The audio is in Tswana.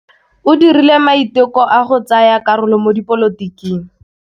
O dirile maitekô a go tsaya karolo mo dipolotiking.